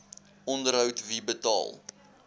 onderhoud wie betaal